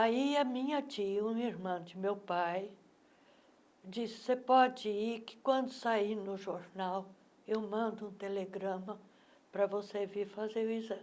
Aí a minha tia, uma irmã de meu pai, disse, você pode ir, que quando sair no jornal, eu mando um telegrama para você vir fazer o exame.